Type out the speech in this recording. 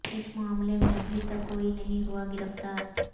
اس معاملے میں ابھی تک کوئی نہیں ہوا گرفتار